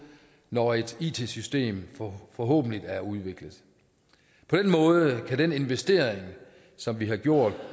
når et it system forhåbentlig er udviklet på den måde kan den investering som vi har gjort